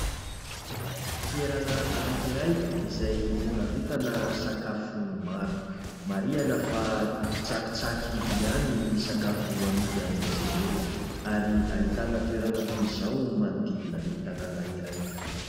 Toerana anakiray izay hivarotana sakafo maro. Marihana fa tsakitsaky ihany no sakafo amidy amin'izy ireo; ary ahitana toerana toy izao manodidina ny tanàna iray.